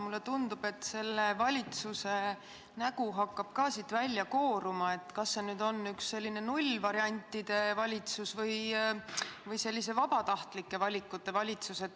Mulle tundub, et ka valitsuse nägu hakkab siit välja kooruma, et kas see on nüüd selline nullvariantide valitsus või selline vabatahtlike valikute valitsus.